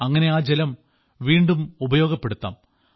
അങ്ങനെ ആ ജലം വീണ്ടും ഉപയോഗപ്പെടുത്താം